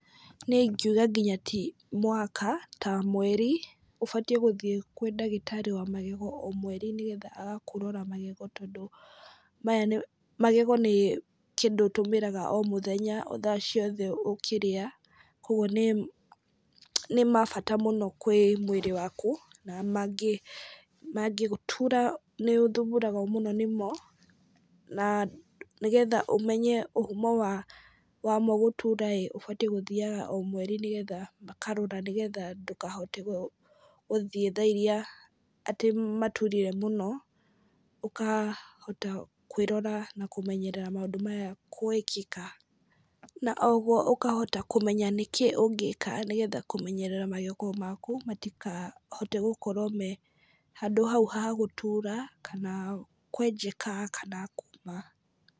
Niĩ ingiuga nginya ti mwaka, ta mweri. Ũbatiĩ gũthiĩ kwĩ ndagĩtarĩ wa magego o mweri nĩgetha agakũrora magego tondũ maya nĩ, magego nĩ kĩndũ ũtũmĩraga o mũthenya, o thaa ciothe ũkĩrĩa, kũguo nĩ nĩ ma bata mũno kwĩ mwĩrĩ waku, na mangĩgũtura nĩ ũthumbũragwo mũno nĩmo, na nĩgetha ũmenye ũhumo wa wa mo gũtura ĩĩ, ũbatiĩ gũthiaga o mweri nĩgetha makarora nĩgetha ndũkahote gũthiĩ thaa irĩa atĩ maturire mũno, ũkahota kwĩrora na kũmenyerera maũndũ maya gwĩkĩka. Na o ũguo ũkahota kũmenya nĩkĩ ũngĩka nĩgetha kũmenyerera magego maku, matikahote gũkorwo me handũ hau hau gũtuura, kana kwenjeka kana kuuma.